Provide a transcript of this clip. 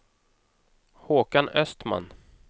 Håkan Östman